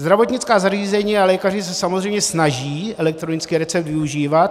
Zdravotnická zařízení a lékaři se samozřejmě snaží elektronický recept využívat.